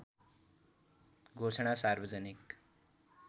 घोषणा सार्वजनिक